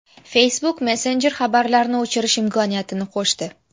Facebook Messenger xabarlarni o‘chirish imkoniyatini qo‘shdi.